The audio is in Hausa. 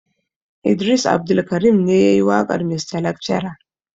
Idris Abdulkarim ne yayi waƙar mista lakcara.